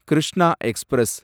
Krishna express